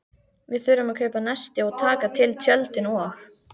Við þurfum að kaupa nesti og taka til tjöldin og.